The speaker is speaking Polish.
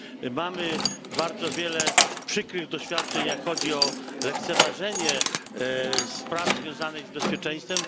Mamy bardzo wiele przykrych doświadczeń, jeśli chodzi o lekceważenie spraw związanych z bezpieczeństwem.